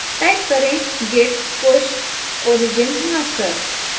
type करें git push origin master